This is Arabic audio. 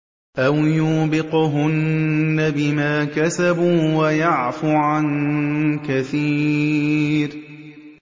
أَوْ يُوبِقْهُنَّ بِمَا كَسَبُوا وَيَعْفُ عَن كَثِيرٍ